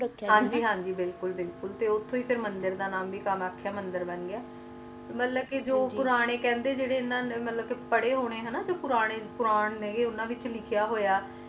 ਹਨ ਜੀ ਹਨ ਜੀ ਤੇ ਉਠੁ ਹੈ ਮੰਦਿਰ ਦਾ ਨਾ ਵੀ ਕਮਿਯਾਖਾ ਮੰਦਿਰ ਬਣ ਗਯਾ ਮਤਲਬ ਕ ਪੂਰਨੇ ਕਹਿੰਦੇ ਜੇ ਇਨ੍ਹਾਂ ਨੂੰ ਪਰ੍ਹੇ ਹੋਣੇ ਨੇ ਪੂਰੇ ਉਨ੍ਹਾਂ ਵਿਚ ਲਿਖਿਆ ਹੋਇਆ